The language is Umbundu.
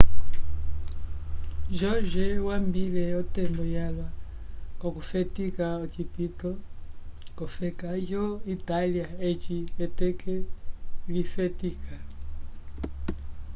jorge wambile otembo yalwa k'okufetika ocipito k'ofeka yo itália eci eteke lifetika